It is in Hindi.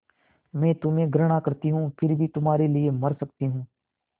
मैं तुम्हें घृणा करती हूँ फिर भी तुम्हारे लिए मर सकती हूँ